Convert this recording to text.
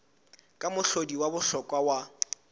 ke mohlodi wa bohlokwa wa